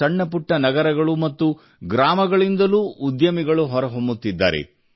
ಸಣ್ಣ ಪುಟ್ಟ ನಗರಗಳು ಮತ್ತು ಗ್ರಾಮಗಳಿಂದಲೂ ಉದ್ಯಮಿಗಳು ಹೊರ ಹೊಮ್ಮುತ್ತಿದ್ದಾರೆ